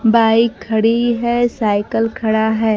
Bike खड़ी है cycle खड़ा है।